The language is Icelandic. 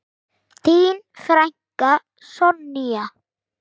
Þín frænka, Sonja.